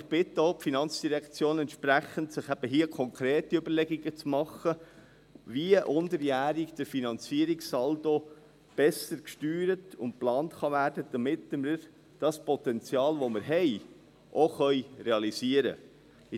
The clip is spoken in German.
Ich bitte auch die FIN entsprechend, eben hier konkrete Überlegungen zu machen, wie der Finanzierungssaldo unterjährig besser gesteuert und geplant werden kann, damit wir das Potenzial, das wir haben, auch realisieren können.